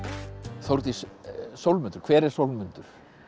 Þórdís hver er Sólmundur